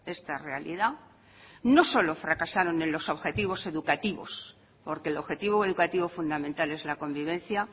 esta realidad no solo fracasaron en los objetivos educativos porque el objetivo educativo fundamental es la convivencia